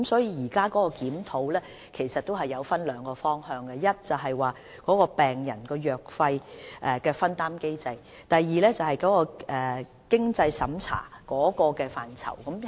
因此，現時的檢討分為兩個方向，第一，病人藥費的分擔機制；第二，經濟審查的準則。